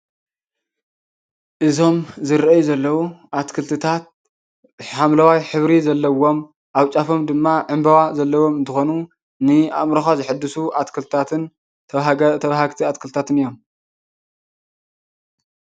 እዞም ዝረኣዩ ዘለው ኣትክልትታት ሓምለዋይ ሕብሪ ዘለዎም ኣብ ጫፎም ድማ ዕንበባ ዘለዎም እንትኾኑ ንኣእምሮኻ ዘሕድሱ ኣትክልትታትን ተባሃጊ ተባህጊቲ ኣትክልትታትን እዮም።